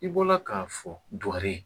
I bɔra k'a fɔ dugare